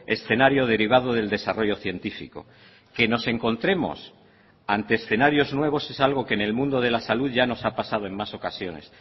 escenario derivado del desarrollo científico que nos encontremos ante escenarios nuevos es algo que en el mundo de la salud ya nos ha pasado en más ocasiones